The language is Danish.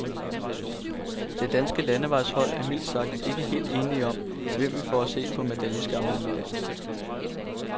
Det danske landevejshold er mildt sagt ikke helt enige om, hvem vi får at se på medaljeskammelen i dag.